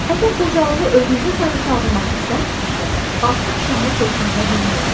Əgər qocalığı özünüzə sarı çağırmaq istəmirsizsə, 60 şamı tortunuza düzməyin.